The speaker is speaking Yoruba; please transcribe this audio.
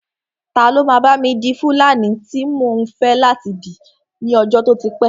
Ta ló máa bá mi di fúlàní tí mò ń fẹ́ láti dì ní ọjọ́ tó ti pẹ́